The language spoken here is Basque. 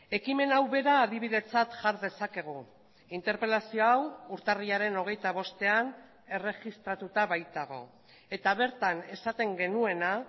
ekimen hau bera adibidetzat jar dezakegu interpelazio hau urtarrilaren hogeita bostean erregistratuta baitago eta bertan esaten genuena